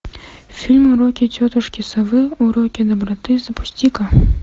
фильм уроки тетушки совы уроки доброты запусти ка